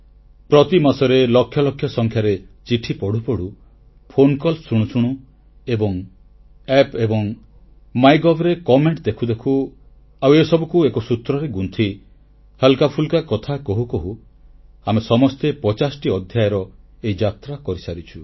ପ୍ରତିମାସରେ ଲକ୍ଷ ଲକ୍ଷ ସଂଖ୍ୟାରେ ଚିଠି ପଢ଼ୁ ପଢ଼ୁ ଫୋନ କଲ୍ ଶୁଣୁ ଶୁଣୁ App ଏବଂ ମାଇଗଭ୍ ରେ ଅଭିମତ ଦେଖୁ ଦେଖୁ ଆଉ ଏସବୁକୁ ଏକ ସୂତ୍ରରେ ଗୁନ୍ଥି ହାଲ୍କାଫୁଲ୍କା କଥା କହୁ କହୁ ଆମେ ସମସ୍ତେ 50ଟି ଅଧ୍ୟାୟର ଏହି ଯାତ୍ରା ସମାପ୍ତ କରିସାରିଛେ